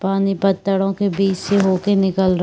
पानी पत्थरो के बीच से होती निकल रही--